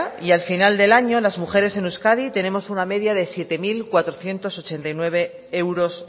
y al final del año las mujeres en euskadi tenemos una media de siete mil cuatrocientos ochenta y nueve euros